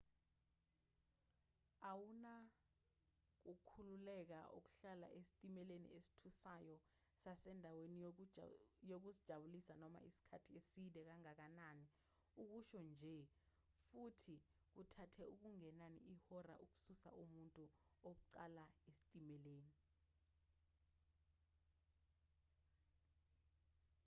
awuna kukhululeka ukuhlala esitimeleni esithusayo sasendaweni yokuzijabulisa noma isikhathi eside kangakanani ukusho nje futhi kuthathe okungenani ihora ukususa umuntu wokuqala esitimeleni.